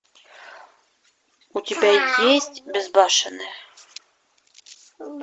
у тебя есть безбашенные